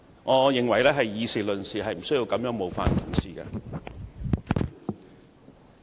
我認為大家議事論事，無需這樣冒犯議員。